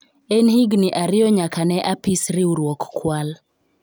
en higni ariyo nyaka ne apis riwruok kwal